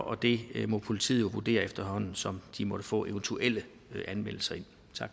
og det må politiet jo vurdere efterhånden som de måtte få eventuelle anmeldelser ind